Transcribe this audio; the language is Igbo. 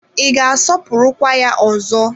Ị ga-asọpụrụkwa ya ọzọ?